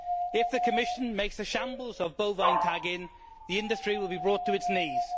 If the Commission makes a shambles of bovine tagging, the industry will be brought to its knees.